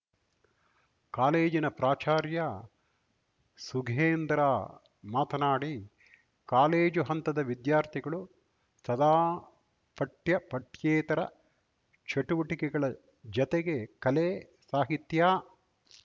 ಕಾಲೇಜಿನ ಪ್ರಾಚಾರ್ಯ ಸುಗೇಂದ್ರ ಮಾತನಾಡಿ ಕಾಲೇಜು ಹಂತದ ವಿದ್ಯಾರ್ಥಿಗಳು ಸದಾ ಪಠ್ಯಪಠ್ಯೇತರ ಚಟುವಟಿಕೆಗಳ ಜತೆಗೆ ಕಲೆ ಸಾಹಿತ್ಯ